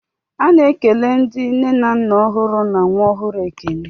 A na-ekele ndị nne na nna ọhụrụ na nwa ọhụrụ ekele.